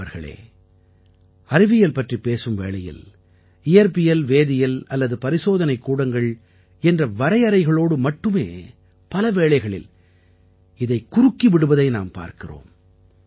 நண்பர்களே அறிவியல் பற்றிப் பேசும் வேளையில் இயற்பியல்வேதியல் அல்லது பரிசோதனைக் கூடங்கள் என்ற வரையறைகளோடு மட்டுமே பல வேளைகளில் இதைக் குறுக்கி விடுவதை நாம் பார்க்கிறோம்